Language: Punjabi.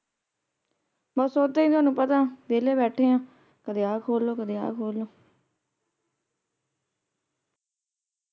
ਬੱਸ ਓਹਦਾ ਹੀ ਤੁਹਾਨੂੰ ਪਤਾ ਹੈ ਕਦੇ ਆ ਖੋਲ ਲੋ ਕਦੇ ਉਹ ਖੋਲ ਲੋ ।